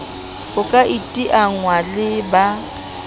ho ka iteanngwa le ba